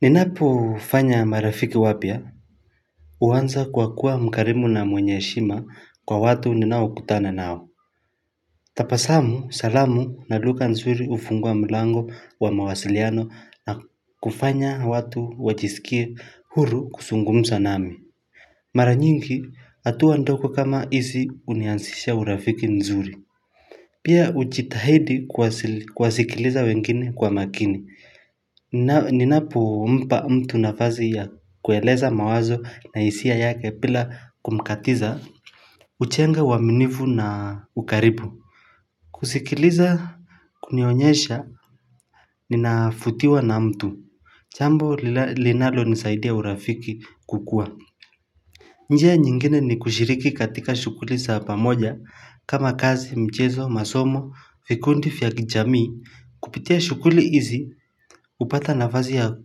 Ninapo fanya marafiki wapya huanza kwa kuwa mkarimu na mwenye heshima kwa watu ninao kutana nao tabasamu salamu na lugha nzuri hufunga mlango wa mawasiliano na kufanya watu wajisikie huru kuzungumza nami Mara nyingi hatua ndogo kama hizi hunianzisha urafiki mzuri Pia hujitahidi kuwasikiliza wengine kwa makini Ninapo mpa mtu nafasi ya kueleza mawazo na hisia yake bila kumkatiza hujenga uaminifu na ukaribu kusikiliza kunionyesha ninafutiwa na mtu jambo linalonisaidia urafiki kukua njia nyingine ni kushiriki katika shughuli za pamoja kama kazi, mchezo, masomo, vikundi, vya kijamii Kupitia shughuli hizi hupata nafasi ya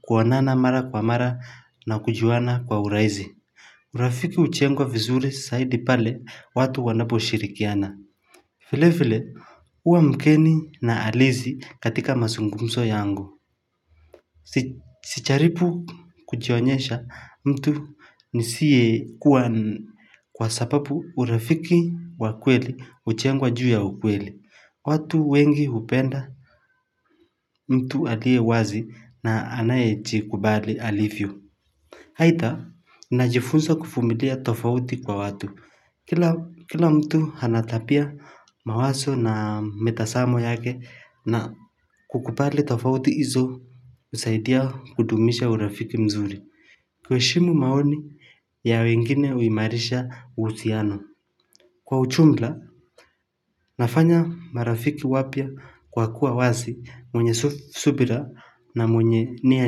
kuonana mara kwa mara na kujuana kwa urahisi urafiki hujengwa vizuri zaidi pale watu wanaposhirikiana vile vile huwa mgeni na halisi katika mazungumzo yangu Sijaribu kujionyesha mtu nisiye kuwa Kwa sababu urafiki wavkweli hujengwa juu ya ukweli watu wengi hupenda mtu aliye wazi na anayejikubali alivyo. Aidha, najifunza kuvumilia tofauti kwa watu. Kila mtu ana tabia mawazo na mitazamo yake na kukubali tofauti izo husaidia kudumisha urafiki mzuri. Kuheshimu maoni ya wengine huimarisha uhusiano. Kwa ujumla, nafanya marafiki wapya kwa kuwa wazi mwenye subira na mwenye nia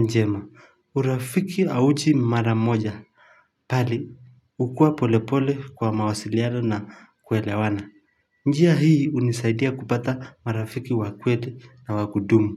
njema. Urafiki hauji mara moja. Pahali, hukua polepole kwa mawasiliano na kuelewana. Njia hii hunisaidia kupata marafiki wa kweli na wa kudumu.